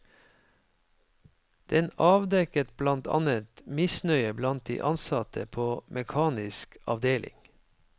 Den avdekket blant annet misnøye blant de ansatte på mekanisk avdeling.